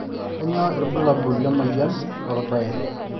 kanyio irbulabul lemoyian lorbae